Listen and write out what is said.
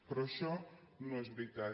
però això no és veritat